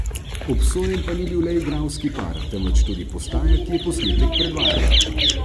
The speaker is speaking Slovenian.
Obsojen pa ni bil le igralski par, temveč tudi postaja, ki je posnetek predvajala.